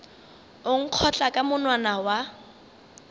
o nkgotla ka monwana wa